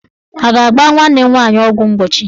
A ga-agba nwanne m nwaanyị ọgwụ mgbochi?